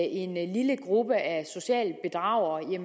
en lille gruppe af sociale bedragere er